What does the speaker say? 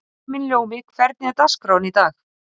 Himinljómi, hvernig er dagskráin í dag?